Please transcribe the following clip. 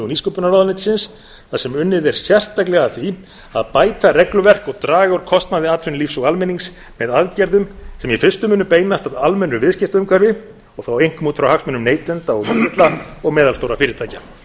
nýsköpunarráðuneytis þar sem unnið er sérstaklega að því að bæta regluverk og draga úr kostnaði atvinnulífs og almennings með aðgerðum sem í fyrstu munu beinast að almennu viðskiptaumhverfi og þá einkum út frá hagsmunum neytenda og lítilla og meðalstórra fyrirtækja